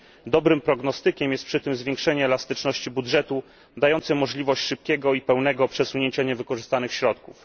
Dobrym prognostykiem jest przy tym zwiększenie elastyczności budżetu, dające możliwość szybkiego i pełnego przesunięcia niewykorzystanych środków.